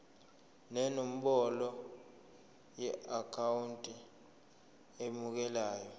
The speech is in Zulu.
nenombolo yeakhawunti emukelayo